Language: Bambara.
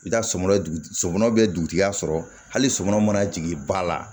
I bɛ taa somɔɔ sɔ bɛ dugutigiya sɔrɔ hali sɔmɔnɔ mana jigin ba la